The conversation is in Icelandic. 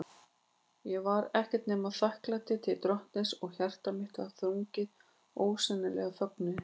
Ég var ekkert nema þakklæti til Drottins, og hjarta mitt var þrungið ósegjanlegum fögnuði.